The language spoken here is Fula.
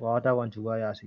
wawata wancugo ha yasi.